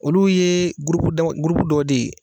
Olu ye dɔ de ye